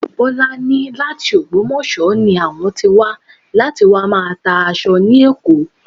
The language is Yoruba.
Bọ́lá ní láti ògbómọ̀ṣọ́ ni àwọn tí wà láti wá máa tá aṣọ ni Èkó